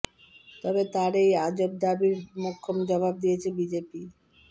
তবে তাঁর এই আজব দাবির মোক্ষম জবাব দিয়েছে বিজেপি